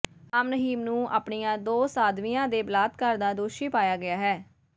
ਰਾਮ ਰਹੀਮ ਨੂੰ ਆਪਣੀਆਂ ਦੋ ਸਾਧਵੀਆਂ ਦੇ ਬਲਾਤਕਾਰ ਦਾ ਦੋਸ਼ੀ ਪਾਇਆ ਗਿਆ ਹੈ